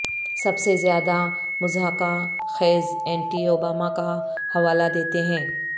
سب سے زیادہ مضحکہ خیز اینٹی اوبامہ کا حوالہ دیتے ہیں